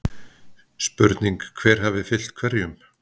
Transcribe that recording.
Spurning hver hafi fylgt hverjum??